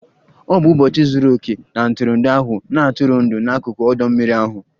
Ọ bụ ụbọchị zuru oke na ntụrụndụ ahụ, na-atụrụ ndụ n'akụkụ ọdọ mmiri ahụ